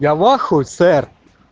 я в ахуе сэр